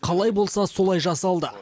қалай болса солай жасалды